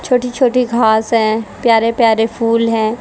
छोटी छोटी घास हैं प्यारे प्यारे फूल हैं।